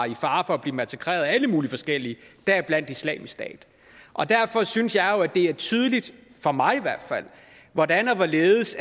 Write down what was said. i fare for at blive massakreret af alle mulige forskellige deriblandt islamisk stat og derfor synes jeg jo at det er tydeligt for mig i hvert fald hvordan og hvorledes